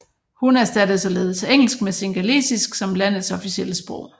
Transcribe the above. Hun erstattede således engelsk med singalesisk som landets officielle sprog